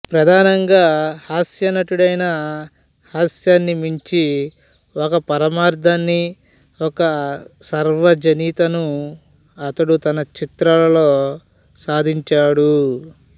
ప్రధానంగా హాస్య నటుడైనా హాస్యాన్ని మించిన ఒక పరమార్థాన్ని ఒక సార్వజనీనతను అతడు తన చిత్రాలలో సాధించాడు